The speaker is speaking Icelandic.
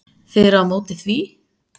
Þið eruð á móti því?